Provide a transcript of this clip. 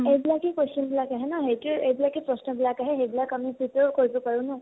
এই বিলাকেই question বিলাক আহে ন ? সেইতো, এই বিলাকেই প্ৰশ্ন বিলাক আহে , সেইবিলাক আমি prepare কৰিব পাৰো ন ?